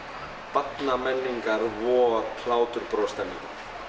barnamenningar vor bros stemmingu